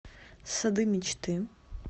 сады мечты